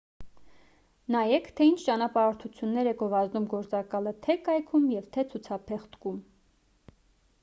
նայեք թե ինչ ճանապարհորդություններ է գովազդում գործակալը թե կայքում և թե ցուցափեղկում